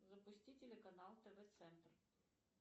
запусти телеканал тв центр